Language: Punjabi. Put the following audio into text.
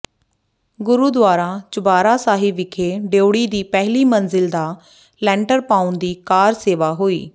ਗੁਰਦੁਆਰਾ ਚੁਬਾਰਾ ਸਾਹਿਬ ਵਿਖੇ ਡਿਉੜੀ ਦੀ ਪਹਿਲੀ ਮੰਜ਼ਿਲ ਦਾ ਲੈਂਟਰ ਪਾਉਣ ਦੀ ਕਾਰ ਸੇਵਾ ਹੋਈ